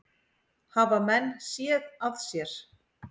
Hafa menn séð að sér?